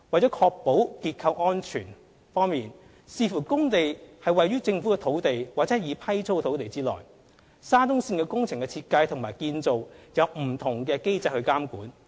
在確保結構安全方面，視乎工地位於政府土地或已批租土地，沙中線工程的設計和建造按不同的機制監管。